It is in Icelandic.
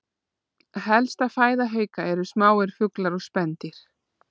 Helsta fæða hauka eru smáir fuglar og spendýr.